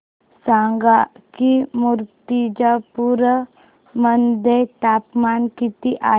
सांगा की मुर्तिजापूर मध्ये तापमान किती आहे